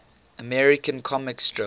american comic strip